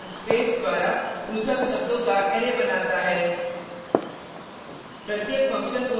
qw function space द्वारा पृथक शब्दों का अरै बनाता है